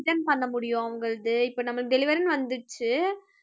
return பண்ண முடியும் உங்களது இப்ப நம்ம delivery ன்னு வந்துருச்சு